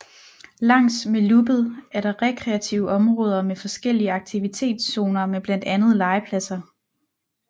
Langs med Loopet er der rekreative områder med forskellige aktivitetszoner med blandt andet legepladser